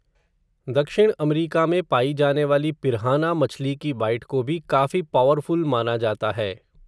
दक्षिण अमरीका में पाई जाने वाली पिर्हाना मछली की बाइट को भी काफ़ी पॉवरफ़ुल माना जाता है.